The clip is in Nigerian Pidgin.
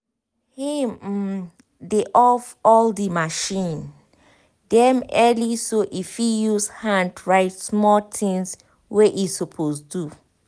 him um dey off all the machine dem early so e fit use hand write small things wey e suppose do